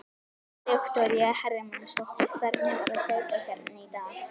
Viktoría Hermannsdóttir: Hvernig var að hlaupa hérna í dag?